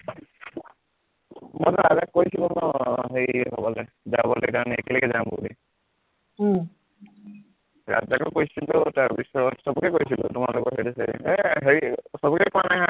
মইতো ৰাজাক কৈছিলো ন হেৰি হবলে যাবলে কাৰণে একে লগে যাম বুলি উম ৰাজাকো কৈছিলো তাৰপিছত সৱকে কৈছিলো তোমালোকৰ সেইটো side এ এৰ হেৰি সৱকে কোৱা নাই আৰু